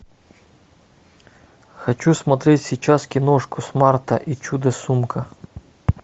хочу смотреть сейчас киношку смарта и чудо сумка